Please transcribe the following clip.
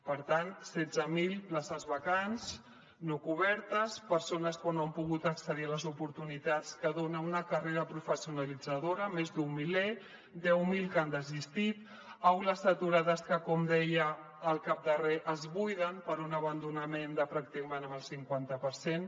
per tant setze mil places vacants no cobertes persones que no han pogut accedir a les oportunitats que dona una carrera professionalitzadora més d’un miler deu mil que han desistit aules saturades que com deia al cap de re es buiden per un abandonament de pràcticament el cinquanta per cent